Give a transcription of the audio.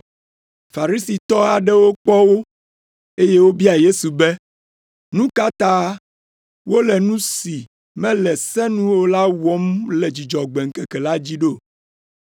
Farisitɔ aɖewo kpɔ wo, eye wobia Yesu be, “Nu ka ta wole nu si mele se nu o la wɔm le Dzudzɔgbe ŋkeke dzi ɖo?”